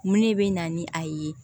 Mun ne bɛ na ni a ye